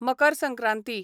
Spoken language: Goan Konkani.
मकर संक्रांती